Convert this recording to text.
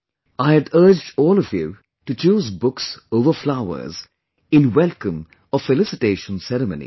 I had urged all to choose books over flowers in welcome or felicitation ceremonies